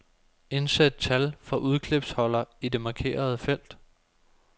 Indsæt tal fra udklipsholder i det markerede felt.